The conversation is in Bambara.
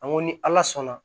An ko ni ala sɔnna